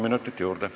Palun!